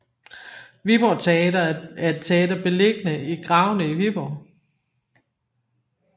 Viborg Teater er et teater beliggende i Gravene i Viborg